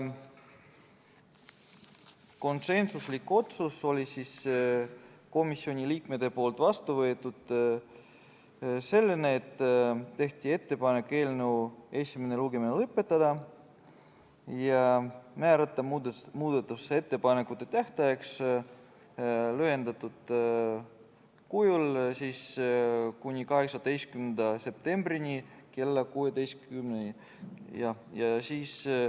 Konsensuslik otsus oli komisjoni liikmetel selline, et tehti ettepanek eelnõu esimene lugemine lõpetada ja määrata muudatusettepanekute esitamise tähtajaks lühem aeg, tähtaeg on 18. septembril kell 16.